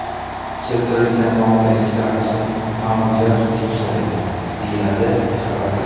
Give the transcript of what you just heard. Keltirilgan noqulayliklar uchun ma’muriyat uzr so‘raydi, deyiladi xabarda.